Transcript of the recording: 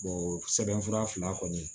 sɛbɛn fura fila kɔni